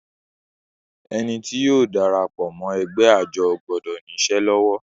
Ẹni tí yóò darapọ̀ mọ́ ẹgbẹ́ àjọ gbọdọ̀ ní isẹ́ lọ́wọ́